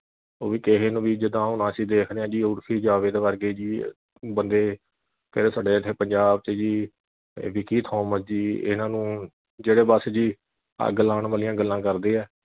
ਉਹ ਵੀ ਕਿਹੇ ਨੂੰ ਵੀ ਜਿੱਦਾਂ ਹੁਣ ਅਸੀਂ ਦੇਖਦੇ ਆ ਜੀ ਉਰਫੀ ਜਾਵੇਦ ਵਰਗੇ ਜੀ ਬੰਦੇ ਕਿਹਦੇ ਸਾਡੇ ਇਥੇ ਪੰਜਾਬ ਵਿਚ ਜੀ ਵਿੱਕੀ ਥੋਮਸ ਜੀ ਇਨ੍ਹਾਂ ਨੂੰ ਜਿਹੜੇ ਬੱਸ ਜੀ ਅੱਗ ਲਾਉਣ ਵਾਲੀਆਂ ਗੱਲਾਂ ਕਰਦੇ ਆ